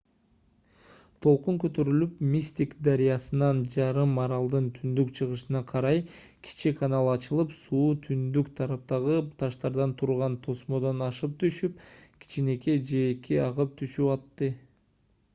толкун көтөрүлүп мистик дарыясынан жарым аралдын түндүн-чыгышына карай кичи канал ачылып суу түндүк тараптагы таштардан турган тосмодон ашып түшүп кичинекей жээкке агып түшүп атты